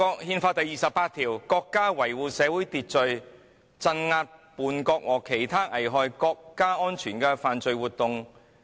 "《憲法》第二十八條訂明"國家維護社會秩序，鎮壓叛國和其他危害國家安全的犯罪活動......